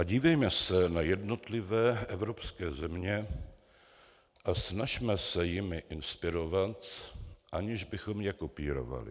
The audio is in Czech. A dívejme se na jednotlivé evropské země a snažme se jimi inspirovat, aniž bychom je kopírovali.